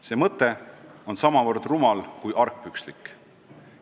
See mõte on samavõrd rumal, kuivõrd argpükslik.